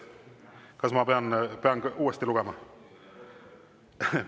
Kas ma pean uuesti lugema?